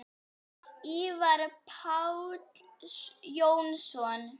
Ívar Páll Jónsson